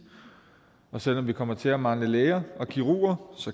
men selv om vi kommer til at mangle læger og kirurger